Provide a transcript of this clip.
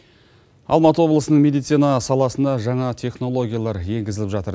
алматы облысының медицина саласында жаңа технологиялар еңгізіліп жатыр